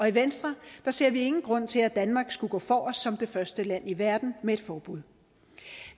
i venstre ser vi ingen grund til at danmark skulle gå forrest som det første land i verden med et forbud